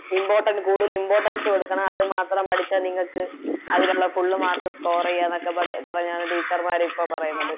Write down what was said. Important കൂടുതൽ Importance കൊടുക്കണം അത് മാത്രം പഠിച്ചാൽ നിങ്ങൾക്ക് അതിലൊള്ള Full mark score ചെയ്യാനൊക്കെ പറഞ്ഞാണ് Teacher ഇപ്പൊ പറയണത്